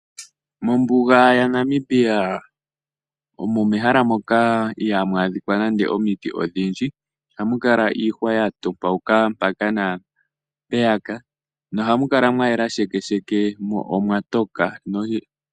Mombuga yaNamibia omo mehala moka ihamu adhika nande omiti odhindji, ohamu kala iihwa ya topoka mpaka naa mpeyaka, nohamu kala mwa yela sheke sheke, mo omwatoka.